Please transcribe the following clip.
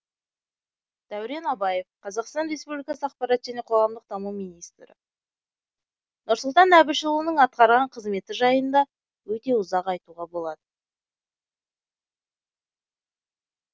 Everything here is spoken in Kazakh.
дәурен абаев қазақстан республикасы ақпарат және қоғамдық даму министрі нұрсұлтан әбішұлының атқарған қызметі жайында өте ұзақ айтуға болады